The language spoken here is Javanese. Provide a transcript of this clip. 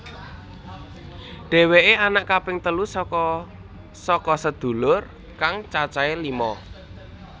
Dheweké anak kaping telu saka saka sedulur kang cacahe lima